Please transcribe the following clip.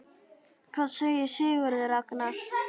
Hvað segir Sigurður Ragnar?